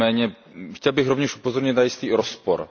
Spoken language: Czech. Nicméně, chtěl bych rovněž upozornit na jistý rozpor.